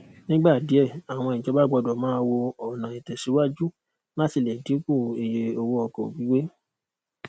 nígbà díẹ àwọn ìjọba gbọdọ máa wo ọnà ìtẹsíwajú láti lè dínkù iye owó ọkọ gbígbé